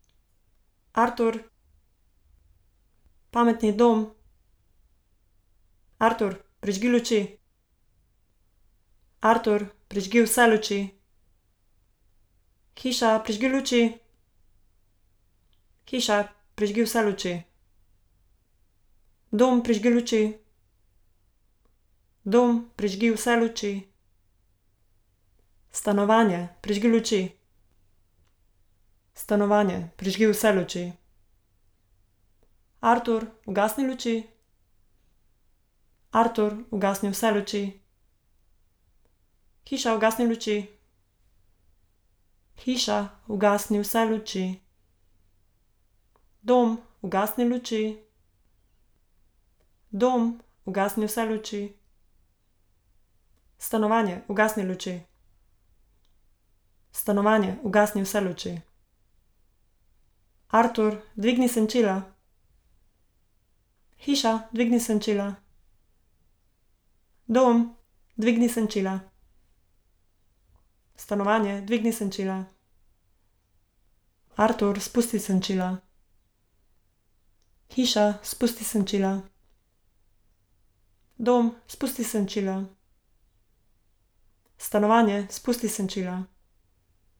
Artur. Pametni dom. Artur, prižgi luči. Artur, prižgi vse luči. Hiša, prižgi luči. Hiša, prižgi vse luči. Dom, prižgi luči. Dom, prižgi vse luči. Stanovanje, prižgi luči. Stanovanje, prižgi vse luči. Artur, ugasni luči. Artur, ugasni vse luči. Hiša, ugasni luči. Hiša, ugasni vse luči. Dom, ugasni luči. Dom, ugasni vse luči. Stanovanje, ugasni luči. Stanovanje, ugasni vse luči. Artur, dvigni senčila. Hiša, dvigni senčila. Dom, dvigni senčila. Stanovanje, dvigni senčila. Artur, spusti senčila. Hiša, spusti senčila. Dom, spusti senčila. Stanovanje, spusti senčila.